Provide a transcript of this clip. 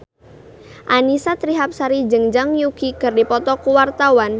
Annisa Trihapsari jeung Zhang Yuqi keur dipoto ku wartawan